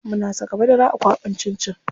Muna saka madara a kwaɓin cin cin.